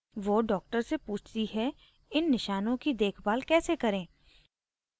वो डॉ से पूछती है इन निशानों की देखभाल care करें